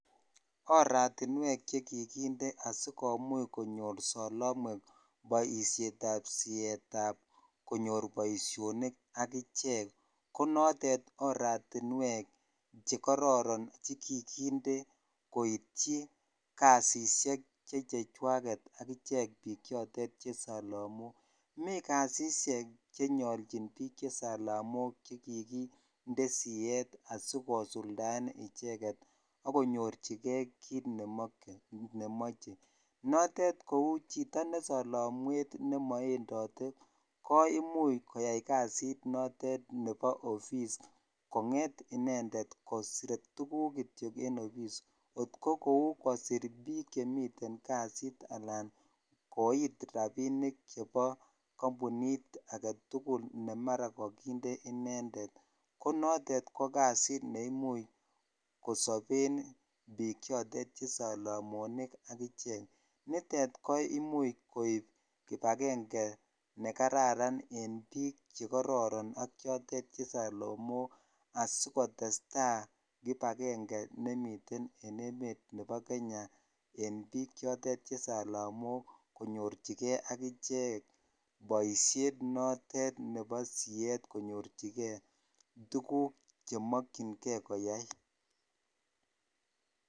Oratinwek chekikinde asikomuch konyor solomwek boishetab sietab konyor boishonik akichek ko notet oratinwek chekororon chekikinde koityi kasisiek che chejwaket akichek bichotet che solomok, mii kasisiek chenyolchin biik che salamok chekikinde siet asikosuldaen icheket ak konyorchike kiit nemoche, notet kouu chito ne solomwet nemo endote ko imuch koyai kasit notet nebo ofis kong'et inendet kosir tukuk kitiok en ofis kot ko kouu kosir biik chemiten kasit alaa koit rabinik chebo kombunit aketukul nemara kokinde inendet, ko notet ko kasit neimuch kosoben biik chotet che solomonik ak ichek, nitet ko imuch koib kibakeng'e nekararan en biik chekororon ak biik che solomok asikotesta kibakeng'e nemiten en emet nebo Kenya en biik chotet che solomok konyorchike ak ichek boishet nebo siet konyorchike tukuk chemokying'e koyai.